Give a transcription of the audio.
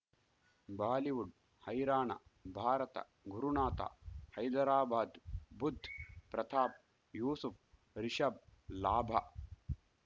Bollywood ಹೈರಾಣ ಭಾರತ ಗುರುನಾಥ ಹೈದರಾಬಾದ್ ಬುಧ್ ಪ್ರತಾಪ್ ಯೂಸುಫ್ ರಿಷಬ್ ಲಾಭ